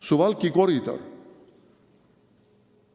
Suwalki koridor.